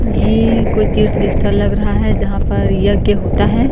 ये कोई तीर्थ स्थल लग रहा है जहां पर यज्ञ होता है।